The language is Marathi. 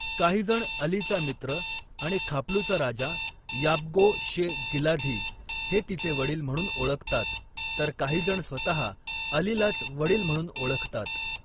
काहीजण अलीचा मित्र आणि खापलूचा राजा याब्गो शे गिलाझी हे तिचे वडील म्हणून ओळखतात, तर काहीजण स्वतः अलीलाच वडील म्हणून ओळखतात.